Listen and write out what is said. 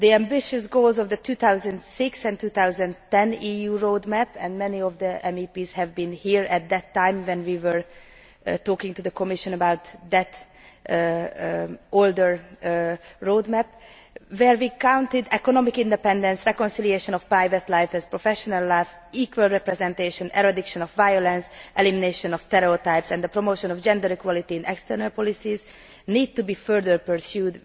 The ambitious goals of the 2006 and 2010 EU road map and many of the MEPs were here at the time when we were talking to the Commission about the older road map where we called for economic independence, reconciliation of private life and professional life, equal representation, eradication of violence, elimination of stereotypes and the promotion of gender equality in external policies, need to be further pursued.